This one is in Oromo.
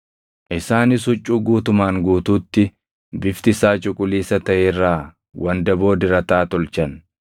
Isaanis huccuu guutumaan guutuutti bifti isaa cuquliisa taʼe irraa wandaboo dirataa tolchan;